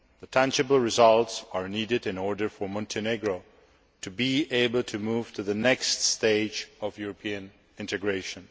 Tangible results are needed in order for Montenegro to be able to move to the next stage of European integration.